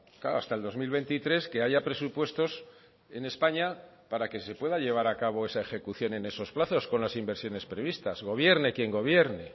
claro hasta el dos mil veintitrés que haya presupuestos en españa para que se pueda llevar a cabo esa ejecución en esos plazos con las inversiones previstas gobierne quien gobierne